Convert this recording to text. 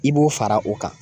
I b'o fara o kan.